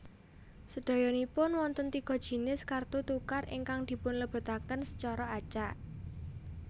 Sèdayanipun wonten tiga jinis kartu tukar ingkang dipunlebetaken secara acak